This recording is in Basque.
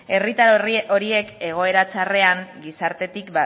herritar horiek egoera txarrean gizartetik